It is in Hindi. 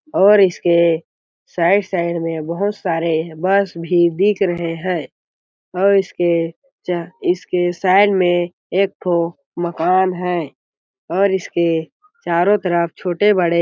और इसके साइड साइड में बहुत सारे बस भी दिख रहे है और इसके च इसके साइड में एक ठो मकान है और इसके चारों तरफ छोटे-बड़े --